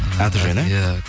аты жөні иә